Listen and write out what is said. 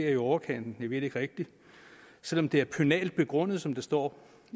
i overkanten det ved vi ikke rigtig selv om det er pønalt begrundet som der står